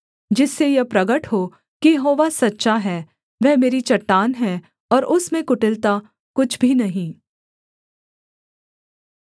जिससे यह प्रगट हो कि यहोवा सच्चा है वह मेरी चट्टान है और उसमें कुटिलता कुछ भी नहीं